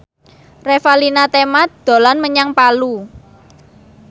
Revalina Temat dolan menyang Palu